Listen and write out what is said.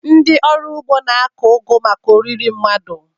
Ndị ọrụ ugbo na-akụ ugu maka oriri mmadụ.